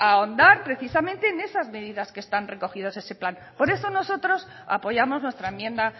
ahondar precisamente en esas medidas que están recogidas en ese plan por eso nosotros apoyamos nuestra enmienda